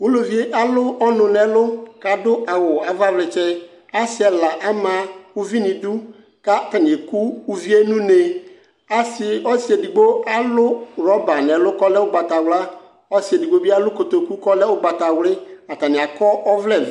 ulʋvie alʋ ɔnʋ nʋ ɛlʋ adʋ awʋ avavlɛtsɛ asiɛla ama ʋvinidʋ ka atani ɛkʋ ʋvie nʋnee asi ɔsiɛdigbo alʋ roba nu ɛlʋ kɔɛlɛ ʋgbatawla ɔsi ɛdigbobi alʋ kotoku kalɛ ʋgbatawli atani akɔ ɔvlɛ vɛ